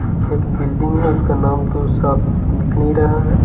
पीछे एक बिल्डिंग है उसका नाम तो साफ दिख नहीं रहा है।